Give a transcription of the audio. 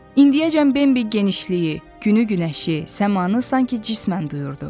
İndiyəcən Bembi genişliyi, günü-günəşi, səmanı sanki cismən duyurdu.